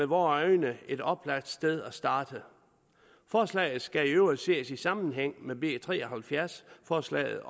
vore øjne et oplagt sted at starte forslaget skal i øvrigt ses i sammenhæng med b tre og halvfjerds forslaget